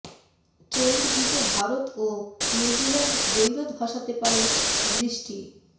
Trent ব্রিজে ভারত ও New Zealand দ্বৈরথ ভাসাতে পারে বৃষ্টি